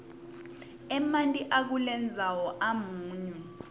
emanti akulendzawo amunyu